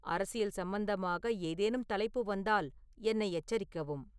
அரசியல் சம்பந்தமாக ஏதேனும் தலைப்பு வந்தால் என்னை எச்சரிக்கவும்